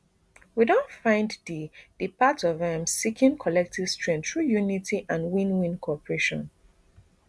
we don find di di path of um seeking collective strength through unity and win win cooperation